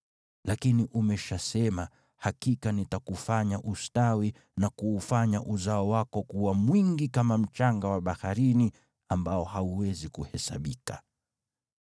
Lakini umeshasema, ‘Hakika nitakufanya ustawi na kuufanya uzao wako kuwa mwingi kama mchanga wa baharini ambao hauwezi kuhesabika!’ ”